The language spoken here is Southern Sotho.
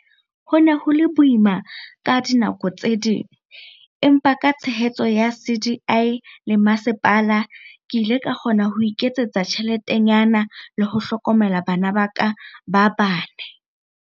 Ho ne ho le boima ka dinako tse ding, empa ka tshehetso ya CDI le masepala, ke ile ka kgona ho iketsetsa tjheletenyana le ho hlokomela bana ba ka ba bane.